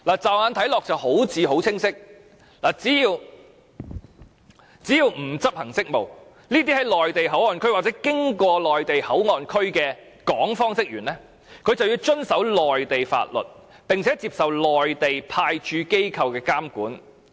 驟眼看來，這好像很清晰，只要不是執行職務，這些在內地口岸區或經過內地口岸區的港方職員就要遵守內地法律，並接受內地派駐機構的監管。